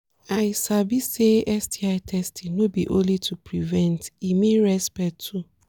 i sabi say say sti testing no be only to prevent e mean respect too